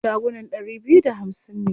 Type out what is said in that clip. Shagunan ɗari biyu da hamsin ne.